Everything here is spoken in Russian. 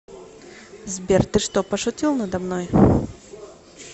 сбер ты что пошутил надо мной